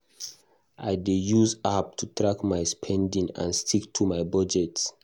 I dey use app to track my spending and stick to my budget.